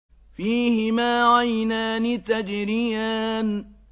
فِيهِمَا عَيْنَانِ تَجْرِيَانِ